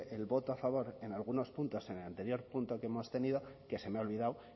el voto a favor en algunos puntos en el anterior punto que hemos tenido que se me ha olvidado